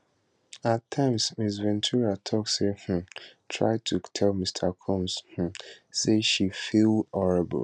at times ms ventura tok she um try to tell mr combs um say she feel horrible